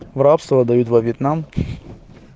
в рабство отдают во вьетнам